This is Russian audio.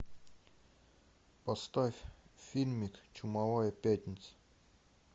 поставь фильмик чумовая пятница